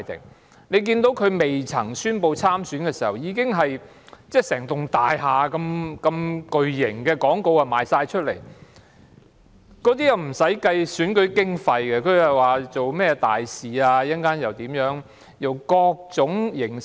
大家也看到有候選人在宣布參選前已在大廈掛上巨型廣告，但卻未有計入選舉經費，利用種種名目說自己是甚麼大使。